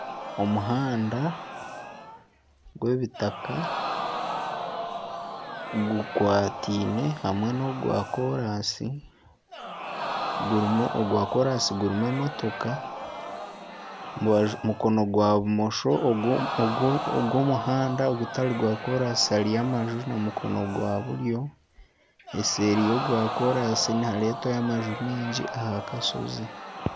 Omuhanda gw'ebitaka bikwataine hamwe nana ogwa koraansi gurimu emotoka , aha rubaju rwa bumosho ogw'omuhanda gutari gwa koraansi hariyo amaju n'omukono gwa buryo eseeri eyogwa koraansi nihareetwayo amaju maingi aha kashozi.